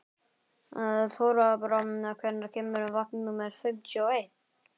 Þorbrá, hvenær kemur vagn númer fimmtíu og eitt?